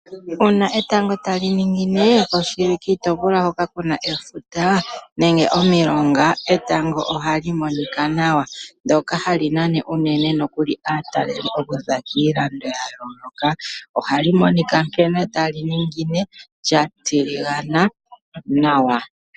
Uuna etango tali ningine oshili kiitopolwa hoka kuna efuta nenge omilonga etango ohali monika nawa. Ndoka hali nana unene nokuli aatalelipo kuza kiilando yayooloka. Ohali monika nkene tali ningine lya tiligana nawa.